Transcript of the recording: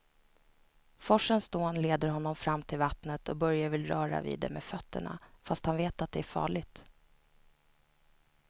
Forsens dån leder honom fram till vattnet och Börje vill röra vid det med fötterna, fast han vet att det är farligt.